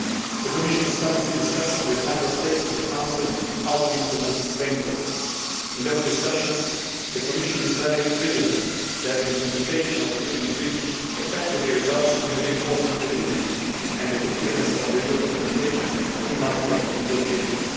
The Commission is currently discussing with Member States in the Council how to implement this framework. In those discussions, the Commission is very vigilant that the implementation of the Lisbon Treaty effectively results in reinforcing the unity and the coherence of EU representation in multilateral negotiations.